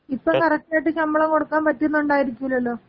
ഇപ്പൊ കറക്റ്റ് ആയിട്ട് ശമ്പളം കൊടുക്കാമ്പറ്റുന്നുണ്ടായിരിക്കൂലല്ലൊ?